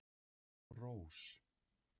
Rós